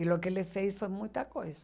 E o que ele fez foi muita coisa.